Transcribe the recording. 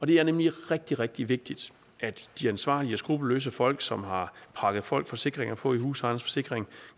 det er nemlig rigtig rigtig vigtigt at de ansvarlige og skruppelløse folk som har prakket folk forsikringer på i husejernes forsikring